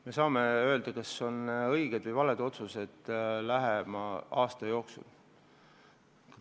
Me saame öelda, kas otsused on õiged või valed, lähima aasta jooksul.